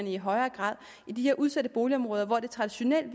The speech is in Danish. i højere grad i de her udsatte boligområder hvor det traditionelt